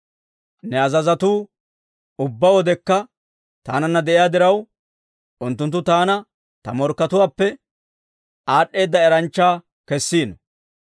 Ne azazotuu ubbaa wodekka taananna de'iyaa diraw, unttunttu taana ta morkkatuwaappe aad'd'eeda eranchcha kessiino.